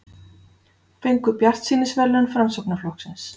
Fengu bjartsýnisverðlaun Framsóknarflokksins